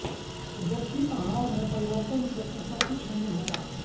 जबकि आहार में परिवर्तन से ऐसा कुछ नहीं होगा